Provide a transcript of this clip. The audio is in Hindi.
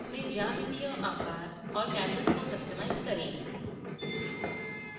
अपने geometric आकार और canvas को customize करें